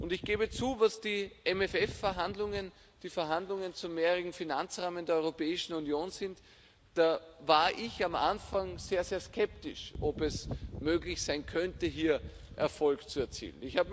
Ich gebe zu, was die MFR-Verhandlungen, die Verhandlungen über den mehrjährigen Finanzrahmen der Europäischen Union betrifft, da war ich am Anfang sehr, sehr skeptisch, ob es möglich sein könnte, hier Erfolg zu erzielen.